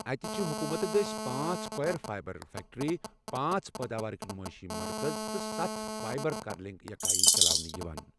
اتہِ چھِ حكومتہٕ دٔسۍ پانٛژھ کویر فایبر فیکٹری، پانژھ پٲداوارٕکۍ نُمٲیشی مركز تہٕ ستھ فایبر کرلنگ یكٲیی چلاونہٕ یوان ۔